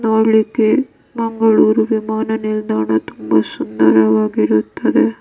ನೋಡ್ಲಿಕ್ಕೆ ಮಂಗಳೂರು ವಿಮಾನ ನಿಲ್ದಾಣ ತುಂಬಾ ಸುಂದರವಾಗಿರುತ್ತದೆ.